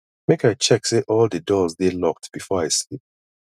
make i check say all di doors dey locked before i sleep